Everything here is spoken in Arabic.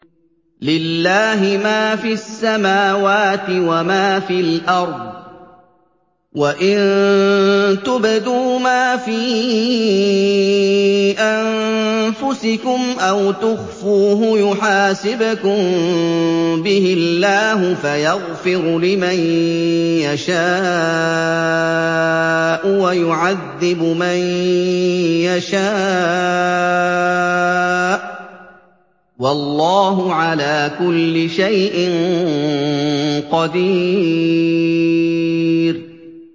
لِّلَّهِ مَا فِي السَّمَاوَاتِ وَمَا فِي الْأَرْضِ ۗ وَإِن تُبْدُوا مَا فِي أَنفُسِكُمْ أَوْ تُخْفُوهُ يُحَاسِبْكُم بِهِ اللَّهُ ۖ فَيَغْفِرُ لِمَن يَشَاءُ وَيُعَذِّبُ مَن يَشَاءُ ۗ وَاللَّهُ عَلَىٰ كُلِّ شَيْءٍ قَدِيرٌ